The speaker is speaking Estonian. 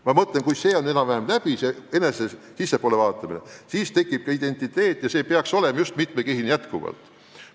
Ma mõtlen, et kui see sissepoole vaatamine on enam-vähem läbi, siis tekib ka identiteet ja see peaks olema just nimelt mitmekihiline.